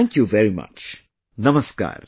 Thank you very much, Namaskar